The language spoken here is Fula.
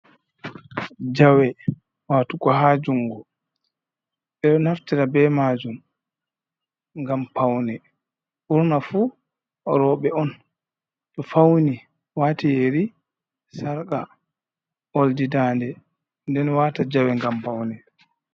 Jawe watugo haa jungo, ɓe ɗo naftira be maajum ngam paune, ɓurna fuu rooɓe on to fauni waati yeri, sarƙa, oldi daande, nden waata jawe ngam paune.